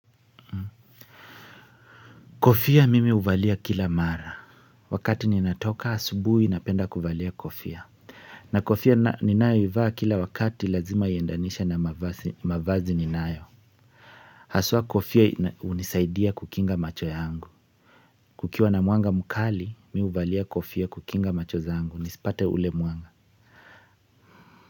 Kofia mimi huvalia kila mara wakati ninatoka asubuhi napenda kuvalia kofia na kofia ninayo ivaa kila wakati lazima iendanishe na mavazi ninayo haswa kofia hunisaidia kukinga macho yangu kukiwa na mwanga mkali mi huvalia kofia kukinga macho zangu nisipate ule mwanga.